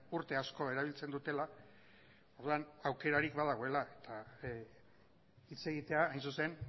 urte asko erabiltzen dutela orduan aukerarik badagoela eta hitz egitea hain zuzen